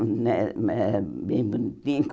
Eh eh era bem bonitinho.